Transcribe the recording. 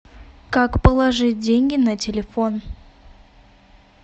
как положить деньги на телефон